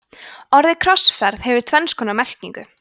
orðið krossferð hefur tvenns konar merkingu